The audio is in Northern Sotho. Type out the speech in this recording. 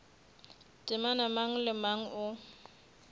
temana mang le mang o